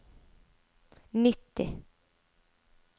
nitti